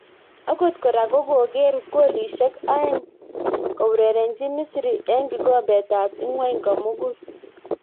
Angot kora ko kogeer golishek aeng' kourerenjin Misri eng' kikombet ab ingwony komugul